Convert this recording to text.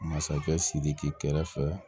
Masakɛ sidiki kɛrɛfɛ